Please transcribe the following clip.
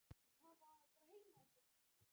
Framlag hans til haffræðinnar er um margt merkilegt.